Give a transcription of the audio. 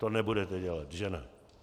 To nebudete dělat, že ne?